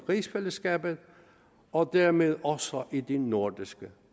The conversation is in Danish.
rigsfællesskabet og dermed også i det nordiske